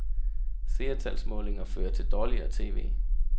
Seertalsmålinger fører til dårligere tv.